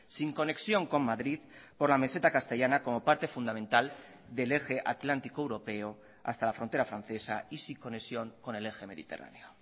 sin conexión con madrid por la meseta castellana como parte fundamental del eje atlántico europeo hasta la frontera francesa y sin conexión con el eje mediterráneo